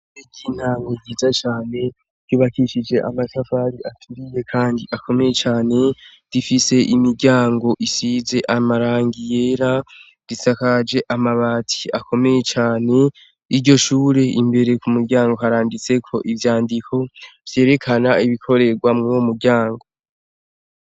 Eky'intamwo yiza cane kibakishije amasafari aturiye, kandi akomeye cane difise imiryango isize amarangiyera risakaje amabati akomeye cane iryo shure imbere ku muryango haranditseko ivyandiko vyerekana ibikorerwa mwowo muryango.